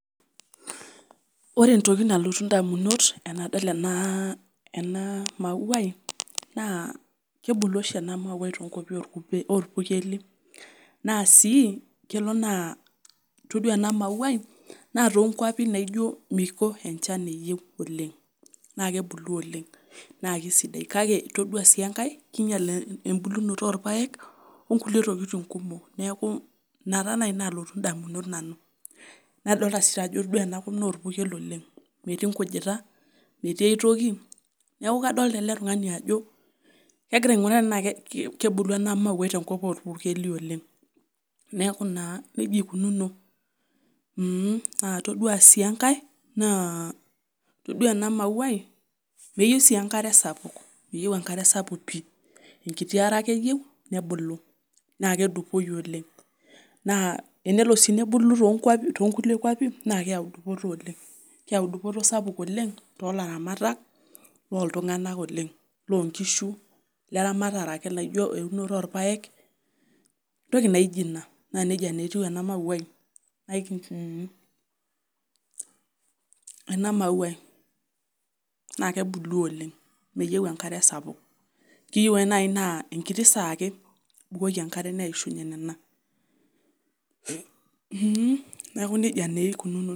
Ore entoki nalotu indamunot tenadol ena mauai naa kebulu oshi ena mauai toonkuapi oopurkli, naa sii kelo naa todua ena mauai naa toonkuapi naijo miko enjan eyieu oleng'.naa kebulu oleng' naa kesidai kake todua sii enkae keinyial embulunoto oopayek onkulie tokitin kumok. Neeku ina taanai naalotu indamunot nanu. Naa todua sii ore enakop naa orpukel oleng'.metii enkujita, metii aitoki, neeku kadoolta ele tungani ajo kegira ainguraa tenaa kebulu ena mauai toonkuapi oopurkeli oleng'. Neeku naa nejia eikununu muuh..! Naa todua sii enkae, naa todua ena mauai meyieu sii enkare sapuk, meyieu enkare sapuk pii enkiti are ake eyieu nebulu naa kedupoyu oleng',naa enolo sii nebulu toonkulie kuapi naa keeu dupoto oleng'.keeu duputo sapuk oleng' too laramatak lootunganak oleng',loonkishu, neramatare ake naijo eunoto oopayek entoki naijo ina naa peokuni nejia naa etiu ena mauai, naa kebulu oleng' meyieu enkare sapuk keyieu ake naai naa enkiti saa ake ibukoki enkare neishunye nena. Muuh..! neeku nejia naa eikinuno.